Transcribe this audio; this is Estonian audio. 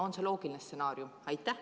On see loogiline stsenaarium?